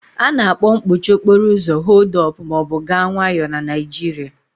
A na-akpọ mkpọchị okporo ụzo "họld up" ma ọ bụ "gaa nwayọọ" na Naịjirịa.